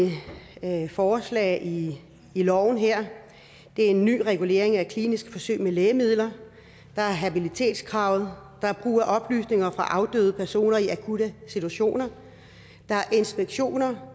forslag i loven her det er en ny regulering af kliniske forsøg med lægemidler der er habilitetskravet der er brug af oplysninger fra afdøde personer i akutte situationer der er inspektioner